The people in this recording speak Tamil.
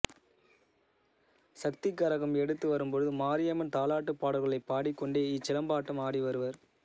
சக்தி கரகம் எடுத்து வரும்பொழுது மாரியம்மன் தாலாட்டுப் பாடல்களைப் பாடிக்கொண்டே இச்சிலம்பாட்டம் ஆடி வருவர்